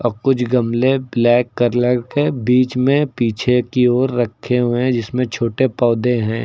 कुछ गमले black colour के बीच में पीछे की ओर रखे हुए हैं जिसमें छोटे पौधे हैं।